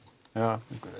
eða